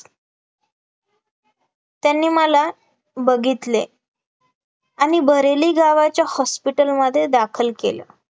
त्यांनी मला बघितले आणि बरेली गावाच्या hospital मध्ये दाखल केलं